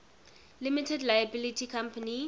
limited liability company